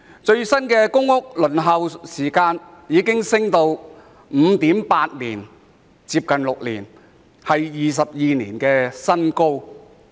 最新的公屋輪候時間已升至 5.8 年，接近6年，創22年的新高。